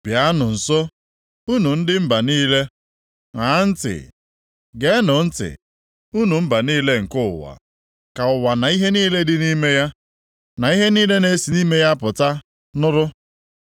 Bịanụ nso, unu ndị mba niile, ṅaa ntị. Geenụ ntị, unu mba niile nke ụwa. Ka ụwa na ihe niile dị nʼime ya, na ihe niile na-esi nʼime ya apụta nụrụ.